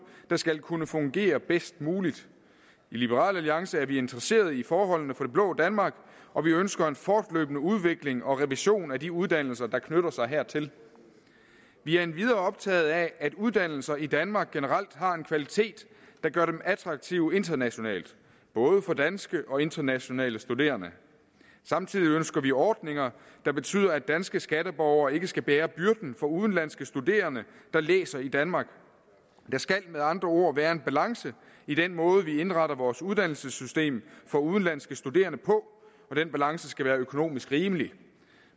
der skal kunne fungere bedst muligt i liberal alliance er vi interesserede i forholdene for det blå danmark og vi ønsker en fortløbende udvikling og revision af de uddannelser der knytter sig hertil vi er endvidere optaget af at uddannelser i danmark generelt har en kvalitet der gør dem attraktive internationalt både for danske og internationale studerende samtidig ønsker vi ordninger der betyder at danske skatteborgere ikke skal bære byrden for udenlandske studerende der læser i danmark der skal med andre ord være en balance i den måde vi indretter vores uddannelsessystem for udenlandske studerende på og den balance skal være økonomisk rimelig